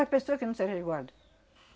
As pessoa que não segue resguardo.